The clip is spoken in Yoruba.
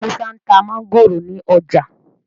Musa nta Mángòrò ní ọjà